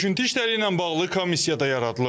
Söküntü işləri ilə bağlı komissiya da yaradılıb.